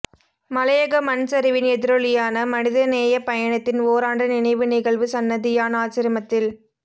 மலையக மண் சரிவின் எதிரொலியான மனிதநேயப் பயணத்தின் ஓராண்டு நினைவு நிகழ்வு சன்னதியான் ஆச்சிரமத்தில்